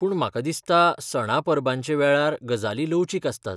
पूण म्हाका दिसता सणा परबांचे वेळार, गजाली लवचीक आसतात.